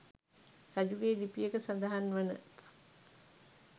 රජුගේ ලිපියක සඳහන්වන